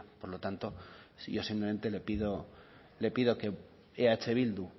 por lo tanto yo simplemente le pido que eh bildu